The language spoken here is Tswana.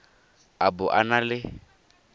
a bo a na le